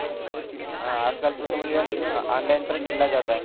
हा आजकाल तो तर म्हणजे ओन्लाईन पण खेळला जात आहे